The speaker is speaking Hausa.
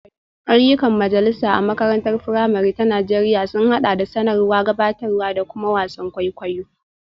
Ayyukan majalisa a makarantar firamare ta Najeriya sun haɗa da sanarwa, gabatarwa, da kuma wasan kwaikwayo.